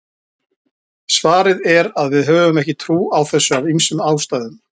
svarið er að við höfum ekki trú á þessu af ýmsum ástæðum